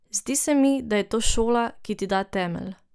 Zdi se mi, da je to šola, ki ti da temelj.